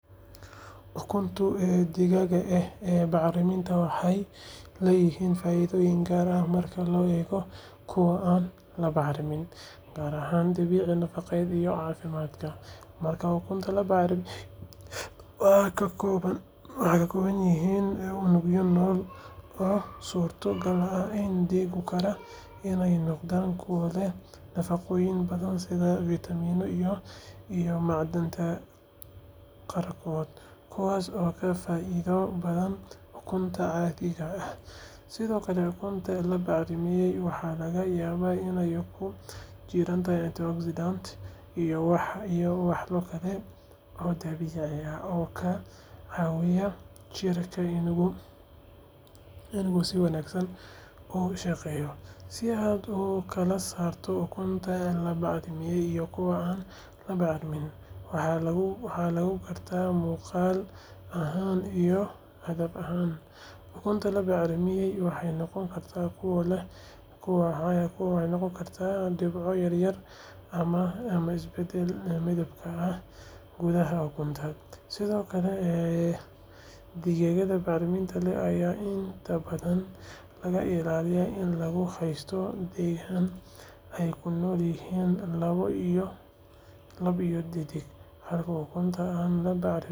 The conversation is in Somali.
Ukunta digaaga ah ee bacriiminta waxey lee yihiin faaiidoyin gaara ah marka lo eego kuwa aan la bacriimin gaar ahan dabiici nafaaqode iyo cafimadka marka ukunta la bacriimin waaxa kakowayihin iiyago wali nol oo surtagal ah digaagu iney noqdan kuwa leh nafanoyin badan sidhaa Vitamin naa iyo macdaan qaarkod waxaso oo ka faaiida badan ukunta cadiga ah sidhoo kale ukunta la bacrimiye waxa laga yaaba iney ukunta jiraantahy iyo Deoxsiden oo dabiici ah sidhoo kale ukunta jirkeenu si wanagsaan ogu shaqeyo sidhoo kale kala saarto ukunta la bacriimina iyo kuwa aan la bacriimin waxa lagu garta muqal ahaan iyo cadab ahaan ukunta la bacriimiyey waxe noqoni karta kuwa leh lagu garta dibco yaryar ama isbaadal midabka ah gudaha ukunta sidhoo kale een digaagada bacriiminta leh intaa badan laga ilaaliyo ina lagu hasta deeg ah ukunta mel ey kunolyihin lab iyo didhig.